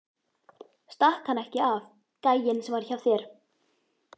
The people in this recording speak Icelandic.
Stakk hann ekki af, gæinn sem var hjá þér?